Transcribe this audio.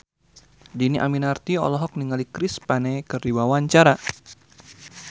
Dhini Aminarti olohok ningali Chris Pane keur diwawancara